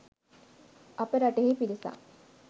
අප රටෙහි පිරිසක්